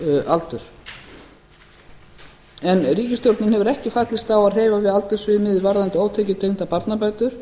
aldur en ríkisstjórnin hefur ekki fallist á að hreyfa við aldursviðmiði varðandi ótekjutengdar barnabætur